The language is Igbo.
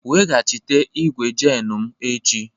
Weghachite igwu jenu m echi!